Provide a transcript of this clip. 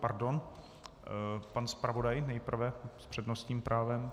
Pardon, pan zpravodaj nejprve s přednostním právem.